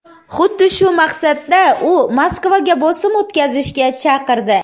Xuddi shu maqsadda u Moskvaga bosim o‘tkazishga chaqirdi.